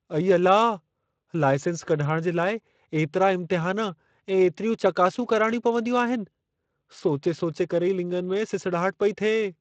अई अला! लाइसेंस कढाइणु जे लाइ एतिरा इम्तिहान ऐं एतिरियूं चकासूं कराणियूं पवंदियूं आहिनि। सोचे सोचे करे ई लिङनि में सिसड़ाहट पेई थिए।